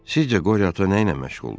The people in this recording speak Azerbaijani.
Sizcə qoriya ata nə ilə məşğuldur?